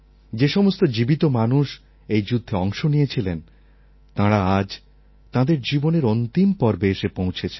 যে সমস্ত জীবিত মানুষ এই যুদ্ধে অংশ নিয়েছিলেন তাঁরা আজ তাঁদের জীবনের অন্তিম পর্বে এসে পৌঁছেছেন